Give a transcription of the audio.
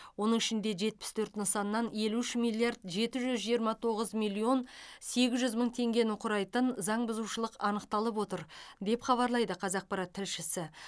оның ішінде жетпіс төрт нысаннан елу үш миллиард жеті жүз жиырма тоғыз миллион сегіз жүз мың теңгені құрайтын заңбұзушылық анықталып отыр деп хабарлайды қазақпарат тілшісі